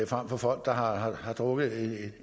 frem for folk der har har drukket